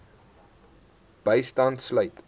bystand sluit